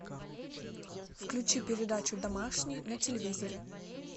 включи передачу домашний на телевизоре